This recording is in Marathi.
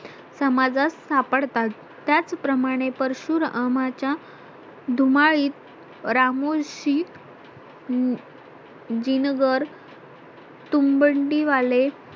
समाजात सापडतात त्याचप्रमाणे परशुरामाच्या धुमाळीत रामूलशीत जिनगर तुंबडी वाले